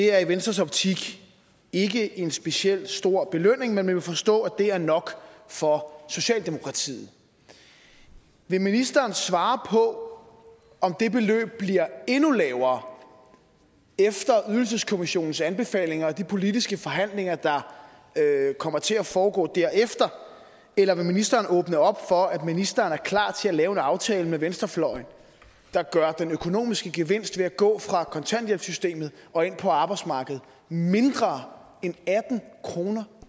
er i venstres optik ikke en specielt stor belønning men man må jo forstå at det er nok for socialdemokratiet vil ministeren svare på om det beløb bliver endnu lavere efter ydelseskommissionens anbefalinger og de politiske forhandlinger der kommer til at foregå derefter eller vil ministeren åbne op for at ministeren er klar til at lave en aftale med venstrefløjen der gør den økonomiske gevinst ved at gå fra kontanthjælpssystemet og ind på arbejdsmarkedet mindre end atten kroner